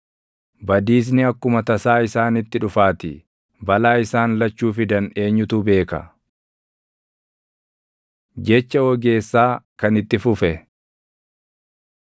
badiisni akkuma tasaa isaanitti dhufaatii; balaa isaan lachuu fidan eenyutu beeka? Jecha Ogeessaa Kan Itti Fufe